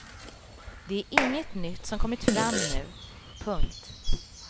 Det är inget nytt som kommit fram nu. punkt